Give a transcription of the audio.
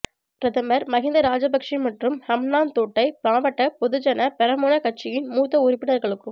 பிரதமர் மஹிந்த ராஜபக்ஷ மற்றும் ஹம்பாந்தோட்டை மாவட்ட பொதுஜன பெரமுன கட்சியின் மூத்த உறுப்பினர்களுக்கும